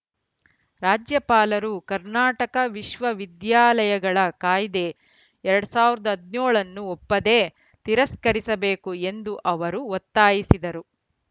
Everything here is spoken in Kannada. ರಾಜ್ಯಪಾಲರು ಕರ್ನಾಟಕ ವಿಶ್ವ ವಿದ್ಯಾಲಯಗಳ ಕಾಯ್ದೆ ಎರಡ್ ಸಾವಿರದ ಹದಿನೇಳ ನ್ನು ಒಪ್ಪದೇ ತಿರಸ್ಕರಿಸಬೇಕು ಎಂದು ಅವರು ಒತ್ತಾಯಿಸಿದರು